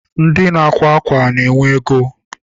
Ndị na-akwa ákwà na-enwe ego.